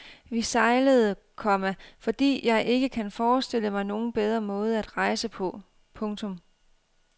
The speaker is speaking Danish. Vi sejlede, komma fordi jeg ikke kan forestille mig nogen bedre måde at rejse på. punktum